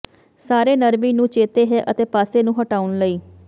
ਸਾਰੇ ਨਰਮੀ ਨੂੰ ਚੇਤੇ ਹੈ ਅਤੇ ਪਾਸੇ ਨੂੰ ਹਟਾਉਣ ਲਈ